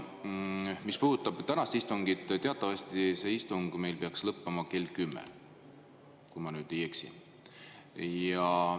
Mis puudutab tänast istungit, siis teatavasti see istung peaks meil lõppema kell 10, kui ma ei eksi.